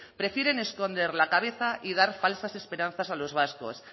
prefieren esconder la cabeza y dar falsas esperanzas a los vascos